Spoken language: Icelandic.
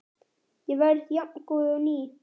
Ég verð jafngóð og ný.